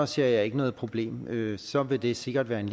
ser jeg ikke noget problem så vil det sikkert være en